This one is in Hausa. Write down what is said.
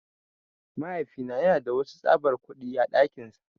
Mahaifina yana da wadansu tsabar kudi á dakinsa.